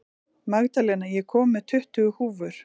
Magdalena, ég kom með tuttugu húfur!